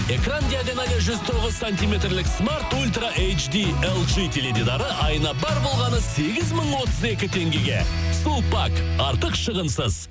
экран диагоналы жүз тоғыз саниметрлік смарт ультра теледидары айына бар болғаны сегіз мың отыз екі теңгеге сулпак артық шығынсыз